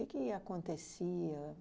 que acontecia?